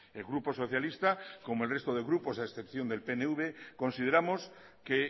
el grupo socialista como el resto de grupos a excepción del pnv consideramos que